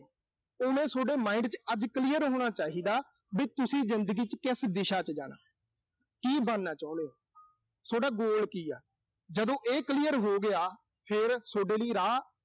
ਉਹ ਨਾ ਅਹ ਸੋਡੇ mind ਚ ਅੱਜ clear ਹੋਣਾ ਚਾਹੀਦਾ ਵੀ ਤੁਸੀਂ ਜ਼ਿੰਦਗੀ ਚ ਕਿਸ ਦਿਸ਼ਾ ਚ ਜਾਣਾ। ਕੀ ਬਣਨਾ ਚਾਹੁਣੇ ਓਂ। ਸੋਡਾ goal ਕੀ ਆ। ਜਦੋਂ ਇਹ clear ਹੋਗਿਆ, ਫਿਰ ਸੋਡੇ ਲਈ ਰਾਹ